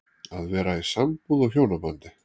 Að vera í sambúð og hjónabandi